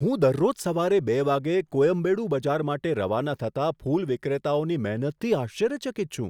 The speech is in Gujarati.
હું દરરોજ સવારે બે વાગ્યે કોયમ્બેડુ બજાર માટે રવાના થતા ફૂલ વિક્રેતાઓની મહેનતથી આશ્ચર્યચકિત છું.